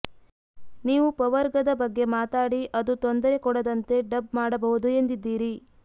ನೀವು ಪವರ್ಗದ ಬಗ್ಗೆ ಮಾತಾಡಿ ಅದು ತೊಂದರೆ ಕೊಡದಂತೆ ಡಬ್ ಮಾಡಬಹುದು ಎಂದಿದ್ದೀರಿ